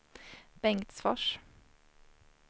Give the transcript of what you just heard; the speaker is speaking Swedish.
Bengtsfors